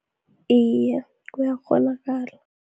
Iye, kuyakghonakala.